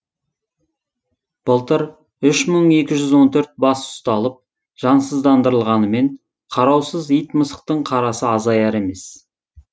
былтыр үш мың екі жүз он төрт бас ұсталып жансыздандырылғанымен қараусыз ит мысықтың қарасы азаяр емес